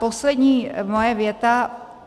Poslední moje věta.